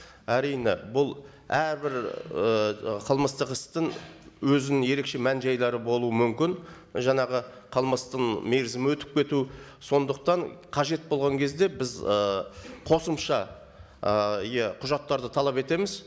әрине бұл әрбір ііі қылмыстық істің өзінің ерекше мән жайлары болуы мүмкін жаңағы қылмыстың мерзімі өтіп кету сондықтан қажет болған кезде біз ы қосымша ы иә құжаттарды талап етеміз